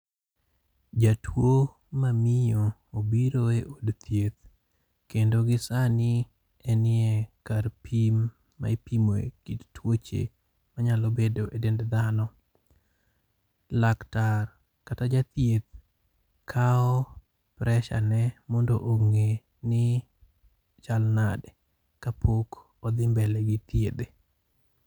Jatwo mamiyo obiro e od thieth kendo gi sani enie kar pim maipimoe kit twoche manyalo bedo e dend dhano. Laktar kata jathieth kawo pressure ne mondo ong'e ni chal nade ka pok odhi mbele gi thiedhe.